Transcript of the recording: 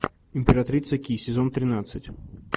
императрица ки сезон тринадцать